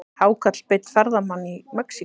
Hákarl beit ferðamann í Mexíkó